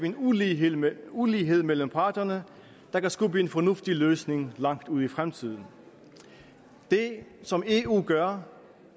en ulighed mellem ulighed mellem parterne der kan skubbe en fornuftig løsning langt ud i fremtiden det som eu gør